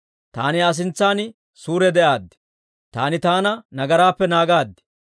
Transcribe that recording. Taani Aa sintsan suure de'aad; taani taana nagaraappe naagaad.